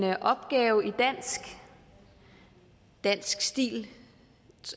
en opgave i dansk i dansk stil